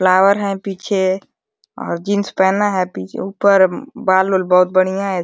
Flower है पीछे और जींस पहना है पीछे। ऊपर बाल ओल बहोत बढ़िया है।